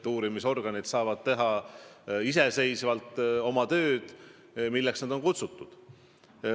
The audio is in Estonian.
Uurimisorganid saavad teha iseseisvalt oma tööd, milleks nad on ellu kutsutud.